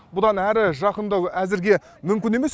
бұдан әрі жақындау әзірге мүмкін емес